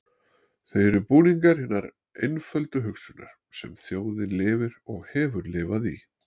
Þau eru búningur hinnar einföldu hugsunar, sem þjóðin lifir og hefur lifað í.